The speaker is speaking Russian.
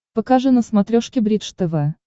покажи на смотрешке бридж тв